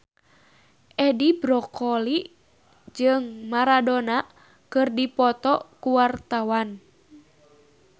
Edi Brokoli jeung Maradona keur dipoto ku wartawan